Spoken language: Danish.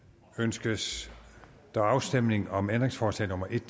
ønskes der afstemning om ændringsforslag nummer en